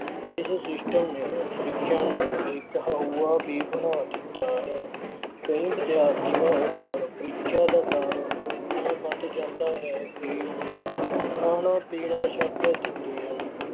ਇਸ system ਨੇ ਪ੍ਰੀਖਿਆ ਨੂੰ ਇੱਕ ਹਊਆ ਵੀ ਬਣਾ ਦਿੱਤਾ ਹੈ। ਕਈ ਵਿਦਿਆਰਥੀਆਂ ਉੱਪਰ ਪ੍ਰੀਖਿਆ ਦਾ ਡਰ ਐਨਾ ਵੱਧ ਜਾਂਦਾ ਹੈ ਕਿ ਉਹ ਖਾਣਾ ਪੀਣਾ ਛੱਡ ਦਿੰਦੇ ਹਨ।